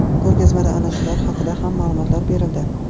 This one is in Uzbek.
Ko‘rgazmada ana shular haqida ham ma’lumot berildi.